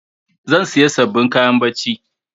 Zan sayi sabbin kayan barci.